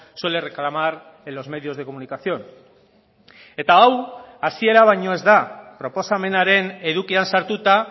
suele reclamar en los medios de comunicación eta hau hasiera baino ez da proposamenaren edukian sartuta